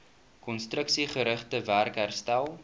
konstruksiegerigte werk herstel